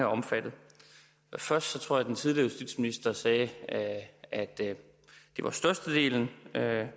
omfattet først tror jeg at den tidligere justitsminister sagde at det var størstedelen